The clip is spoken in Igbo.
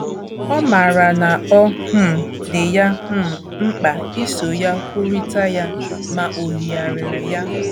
Ọ maara na ọ um dị ya um mkpa iso ya kwurịta ya, ma o yigharịrị ya.